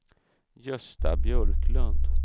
Gösta Björklund